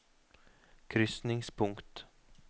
krysningspunkt